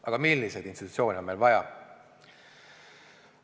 Aga milliseid institutsioone on meil vaja?